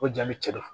O jaabi cɛ don